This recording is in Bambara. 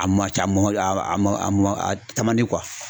A man ca a mɔ a mɔ a mɔ a mɔn a ta man di